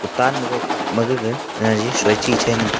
dan cup ma gaga jaji soi chi chai ngan taiga.